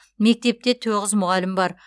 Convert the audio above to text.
мектепте тоғыз мұғалім бар